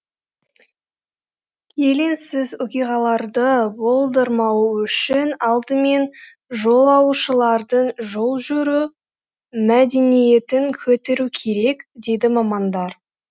келеңсіз оқиғаларды болдырмау үшін алдымен жолаушылардың жол жүру мәдениетін көтеру керек дейді мамандар